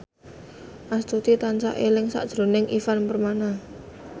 Astuti tansah eling sakjroning Ivan Permana